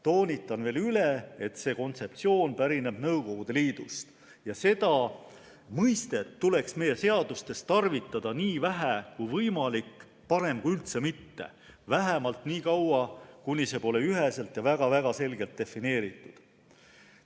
Toonitan veel, et see kontseptsioon pärineb Nõukogude Liidust ja seda mõistet tuleks meie seadustes tarvitada nii vähe kui võimalik, parem kui üldse mitte, vähemalt nii kaua, kuni see pole üheselt ja väga-väga selgelt defineeritud.